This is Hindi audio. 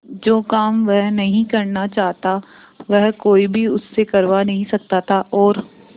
जो काम वह नहीं करना चाहता वह कोई भी उससे करवा नहीं सकता था और